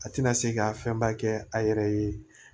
A tɛna se ka fɛnba kɛ a yɛrɛ ye